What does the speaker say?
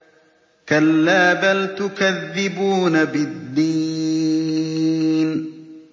كَلَّا بَلْ تُكَذِّبُونَ بِالدِّينِ